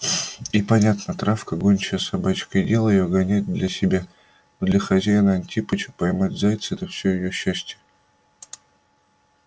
и понятно травка гончая собачка и дело её гонять для себя для хозяина-антипыча поймать зайца это всё её счастье